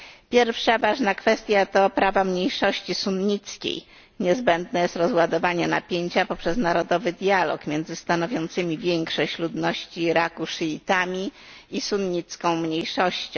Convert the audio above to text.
Pierwsza ważna kwestia to prawa mniejszości sunnickiej, niezbędne jest rozładowanie napięcia poprzez narodowy dialog między stanowiącym większość ludności Iraku szyitami i sunnicką mniejszością.